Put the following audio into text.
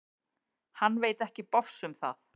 Hann veit ekki bofs um það.